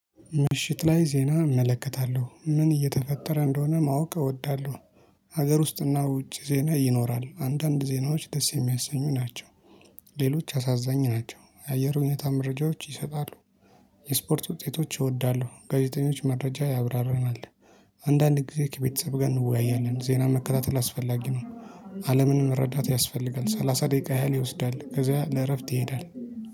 ምሽት ላይ ዜና እመለከታለሁ ምን እየተፈጠረ እንደሆነ ማወቅ እወዳለሁ። ሀገር ውስጥና ውጭ ዜና ይኖራል አንዳንድ ዜናዎች ደስ የሚያሰኙ ናቸው። ሌሎች አሳዛኝ ናቸው የአየር ሁኔታ መረጃዎች ይሰጣሉ። የስፖርት ውጤቶች እወዳለሁ ጋዜጠኞች መረጃ ያብራርማል። አንዳንድ ጊዜ ከቤተሰብ ጋር እንወያያለን ዜና መከታተል አስፈላጊ ነው። አለምን መረዳት ያስፈልጋል ሰላሳ ደቂቃ ያህል ይወስዳል። ከዛ ለእረፍት ይሄዳል